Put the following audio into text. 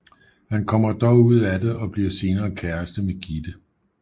Han kommer dog ud af det og bliver senere kæreste med Gitte